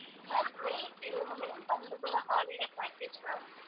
ma'am May இது வந்து May month குள்ள holiday package ma'am